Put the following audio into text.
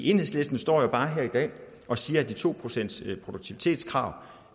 enhedslisten står jo bare her i dag og siger at de to pcts produktivitetskrav